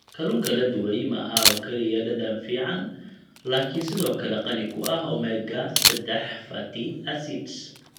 Kalluunka la dubay maaha oo kaliya dhadhan fiican laakiin sidoo kale qani ku ah omega-3 fatty acids.